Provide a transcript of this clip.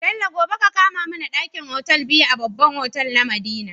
Bello gobe ka kama mAna dakin otal biyu a babban otal na madina